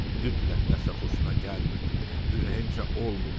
Mütləq nəsə xoşuna gəlmirdi, ürəyincə olmurdu.